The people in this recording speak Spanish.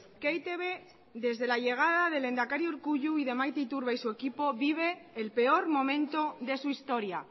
que e i te be desde la llegada del lehendakari urkullu y de maite iturbe y su equipo vive el peor momento de su historia